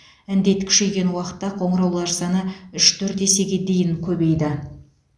індет күшейген уақытта қоңыраулар саны үш төрт есеге дейін көбейді